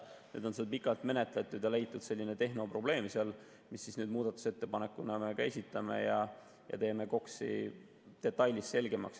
Nüüd on neid asju pikalt menetletud ja on leitud seal selline tehnoprobleem, mille kohta me nüüd muudatusettepaneku esitame ja teeme KOKS‑i detailselt selgemaks.